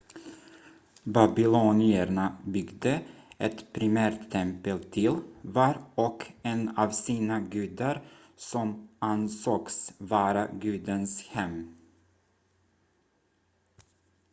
babylonierna byggde ett primärt tempel till var och en av sina gudar som ansågs vara gudens hem